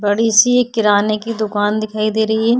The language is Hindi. बड़ी सी एक किराने की दुकान दिखाई दे रही है।